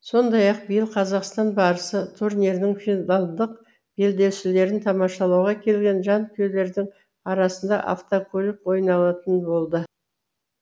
сондай ақ биыл қазақстан барысы турнирінің финалдық белдесулерін тамашалауға келген жанкүйерлердің арасында автокөлік ойнатылатын болды